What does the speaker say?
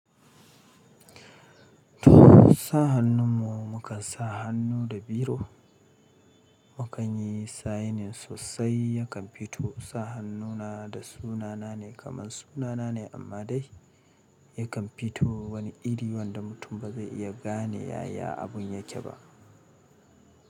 To sa hannun mu, mu kan sa hannu da biro. Mu kan yi sainin sosai yakan fito sa hannuna da sunana ne kamar sunana ne amma dai yakan fito wani iri wanda mutum ba zai iya gane yaya abun yake ba.